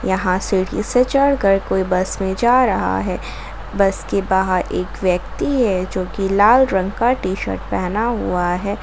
यहाँ सीढ़ी से चढ़ कर कोई बस में जा रहा है बस के बाहर एक व्यक्ति है जो की लाल रंग का टी शर्ट पहना हुआ है।